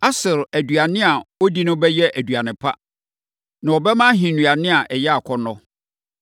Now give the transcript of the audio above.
“Aser aduane a ɔdi no bɛyɛ aduane pa. Na ɔbɛma ahennuane a ɛyɛ akɔnnɔ.